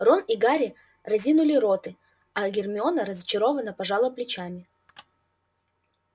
рон и гарри разинули роты а гермиона разочарованно пожала плечами